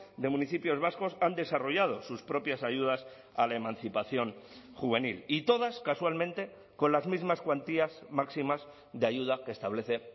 de municipios vascos han desarrollado sus propias ayudas a la emancipación juvenil y todas casualmente con las mismas cuantías máximas de ayuda que establece